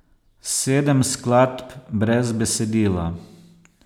Sedem skladb brez besedila.